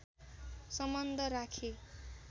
सम्बन्ध राखे